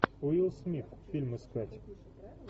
уилл смит фильм искать